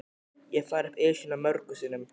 Ég hef farið upp Esjuna mörgum sinnum.